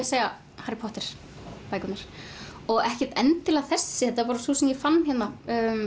segja Harry Potter bækurnar og ekkert endilega þessi þetta var sú sem ég fann hérna